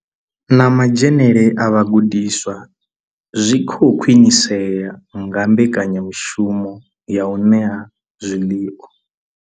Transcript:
Na madzhenele a vhagudiswa zwi khou khwinisea nga mbekanyamushumo ya u ṋea zwiḽiwa.